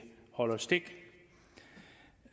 holder stik